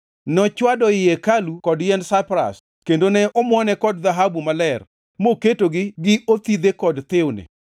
Nochwado i hekalu kod yiend saipras kendo ne omuone kod dhahabu maler moketogi gi othidhe kod thiwni.